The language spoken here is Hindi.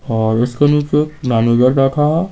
और उसके नीचे एक मैनेजर बैठा है।